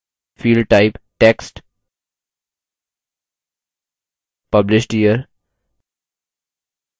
field type text published year